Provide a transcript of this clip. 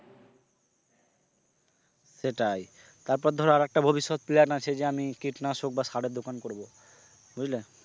সেটাই তারপর ধরো আর একটা ভবিষ্যৎ plan আছে যে আমি কীটনাশক বা সারের দোকান করবো বুঝলে?